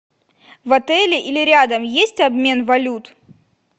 в отеле или рядом есть обмен валют